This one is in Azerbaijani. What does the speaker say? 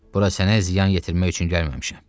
Bura sənə ziyan yetirmək üçün gəlməmişəm.